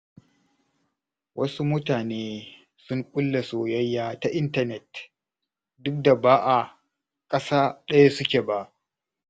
Wasu mutane sun ƙulla soyayya ta intanet, duk da ba a ƙasa ɗaya suke ba.